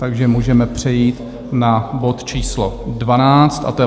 Takže můžeme přejít na bod číslo 12, a to je